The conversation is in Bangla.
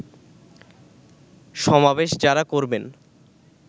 সমাবেশ যারা করবেন